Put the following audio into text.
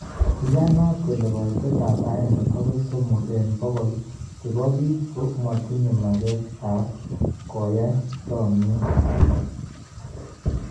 Iyanaat kole koitet ab aenge agoi somok en bogol chebobiik komotinye mageet ab koyaii chomieet.